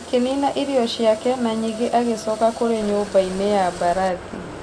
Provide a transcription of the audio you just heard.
Akĩnina irio ciake na nyingĩ agĩcoka kũrĩ nyũmbainĩ ya mbarathi.